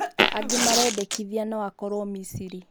Angĩ marendekithia no akorwo Misiri